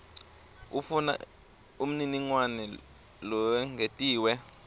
ufuna umniningwane lowengetiwe